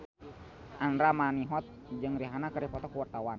Andra Manihot jeung Rihanna keur dipoto ku wartawan